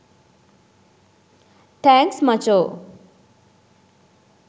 thanks මචෝ